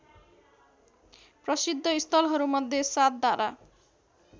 प्रसिद्ध स्थलहरूमध्ये सातधारा